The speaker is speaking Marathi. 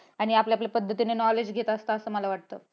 आणि आपल्या आपल्या पद्धतीने knowledge घेत असतो असं मला वाटतं.